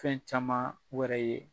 Fɛn caman wɛrɛ ye